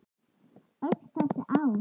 Öll þessi ár?